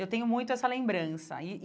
Eu tenho muito essa lembrança e e.